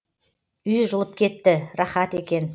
үй жылып кетті рахат екен